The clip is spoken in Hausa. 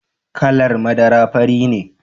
Kalar madara fari ne.